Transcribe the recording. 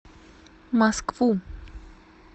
москву